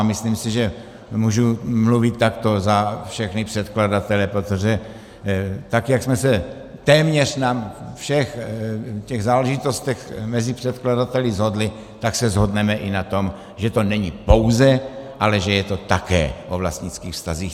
A myslím si, že můžu mluvit takto za všechny předkladatele, protože tak jak jsme se téměř na všech těch záležitostech mezi předkladateli shodli, tak se shodneme i na tom, že to není pouze, ale že je to také o vlastnických vztazích.